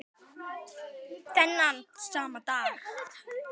Þennan sama dag